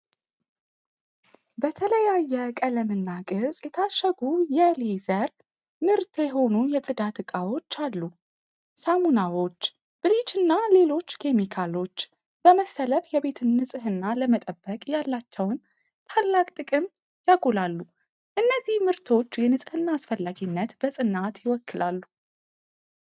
በተለያየ ቀለምና ቅርጽ የታሸጉ የ'ሌዘር' ምርት የሆኑ የጽዳት ዕቃዎች አሉ። ሳሙናዎች፣ ብሊችና ሌሎች ኬሚካሎች በመሰለፍ የቤትን ንጽሕና ለመጠበቅ ያላቸውን ታላቅ ጥቅም ያጎላሉ። እነዚህ ምርቶች የንጽህናን አስፈላጊነት በጽናት ይወክላሉ።